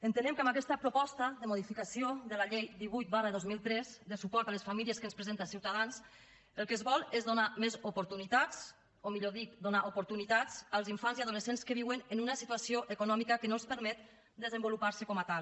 entenem que amb aquesta proposta de modificació de la llei divuit dos mil tres de suport a les famílies que ens presenta ciutadans el que es vol és donar més oportunitats o millor dit donar oportunitats als infants i adolescents que viuen en una situació econòmica que no els permet desenvoluparse com a tal